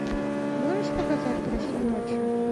можешь показать прошлой ночью